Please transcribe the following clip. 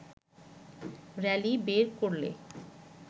rally বের করলে